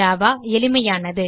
Java எளிமையானது